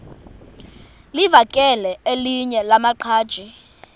livakele elinye lamaqhaji